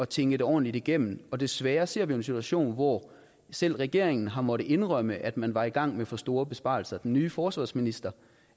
tænke det ordentligt igennem og desværre ser vi en situation hvor selv regeringen har måttet indrømme at man var i gang med for store besparelser den nye forsvarsminister